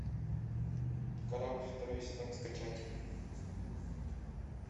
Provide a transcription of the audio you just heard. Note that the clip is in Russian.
корабль второй сезон скачать